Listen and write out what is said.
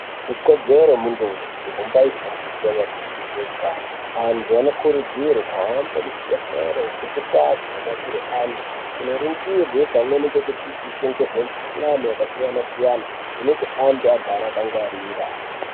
Ikodzero ye muntu weshe kumbai fundiswe maringe nge zve utano antu anokurudzirwa kuhamba mu zvibhedhlera ne ndau dzino detsera antu kuno ningirwa pamweni ne kudzidziswa nezve mu kuhlani yaka siyana siyana kuti antu agare aka gwarira.